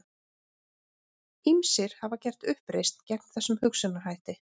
Ýmsir hafa gert uppreisn gegn þessum hugsunarhætti.